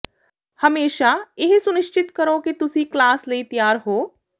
ਹਮੇਸ਼ਾ ਇਹ ਸੁਨਿਸ਼ਚਿਤ ਕਰੋ ਕਿ ਤੁਸੀਂ ਕਲਾਸ ਲਈ ਤਿਆਰ ਹੋ